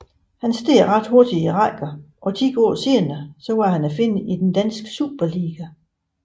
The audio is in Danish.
Han steg ret hurtigt i rækkerne og ti år senere var han at finde i den danske Superliga